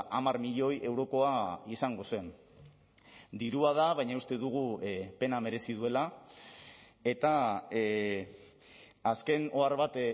hamar milioi eurokoa izango zen dirua da baina uste dugu pena merezi duela eta azken ohar bat